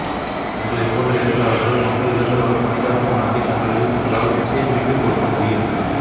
உங்களைப் போன்ற எழுத்தாளர்கள் மக்கள் இழந்துவரும் மனிதாபிமானத்தைத் தங்கள் எழுத்துகளால் நிச்சயம் மீட்டுக்கொடுக்க முடியும்